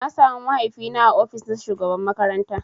Na samu mahaifi na ã ofis na shugaban makaranta.